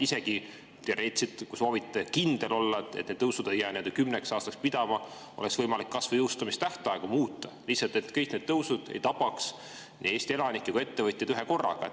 Isegi teoreetiliselt, kui soovite kindel olla, et need tõusud ei jää kümneks aastaks pidama ja et oleks võimalik kas või jõustumistähtaegu muuta, lihtsalt selleks, et kõik tõusud ei tabaks Eesti elanikke ja ettevõtjad ühekorraga.